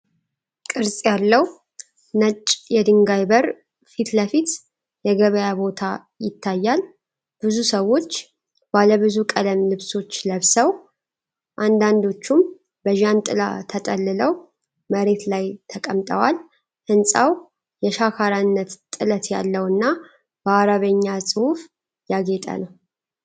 ቅርጽ ያለው ነጭ የድንጋይ በር ፊት ለፊት የገበያ ቦታ ይታያል። ብዙ ሰዎች ባለብዙ ቀለም ልብሶች ለብሰው፣ አንዳንዶቹም በጃንጥላ ተጠልለው መሬት ላይ ተቀምጠዋል። ሕንፃው የሸካራነት ጥለት ያለውና በአረብኛ ጽሑፍ ያጌጠ ነው።